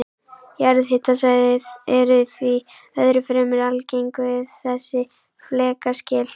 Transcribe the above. Jarðhitasvæði eru því öðru fremur algeng við þessi flekaskil.